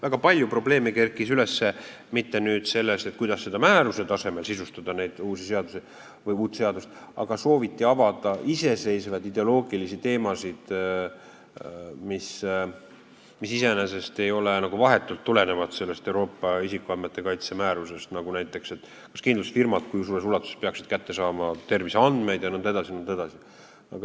Väga palju probleeme kerkis üles mitte selle põhjal, kuidas määruse tasemel sisustada neid uusi seadusi või uut seadust, aga sooviti avada iseseisvaid ideoloogilisi teemasid, mis iseenesest nagu vahetult ei tulene sellest Euroopa isikuandmete kaitse määrusest, näiteks see, kui suures ulatuses peaksid kindlustusfirmad terviseandmeid kätte saama jne.